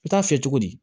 I bɛ taa fiyɛ cogo di